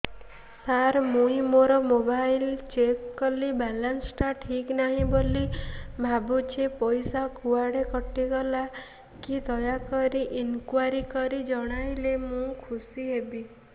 ସାର ମୁଁ ମୋର mobile check କଲି ବାଲାନ୍ସ ଟା ଠିକ ନାହିଁ ବୋଲି ଭାବୁଛି ପଇସା କୁଆଡେ କଟି ଗଲା କି ଦୟାକରି ଇନକ୍ୱାରି କରି ଜଣାଇଲେ ମୁଁ ଖୁସି ହେବି